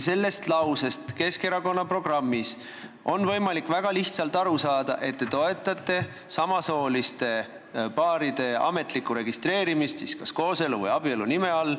Sellest lausest Keskerakonna programmis on võimalik väga lihtsalt aru saada, et te toetate samasooliste paaride ametlikku registreerimist kas kooselu või abielu nime all.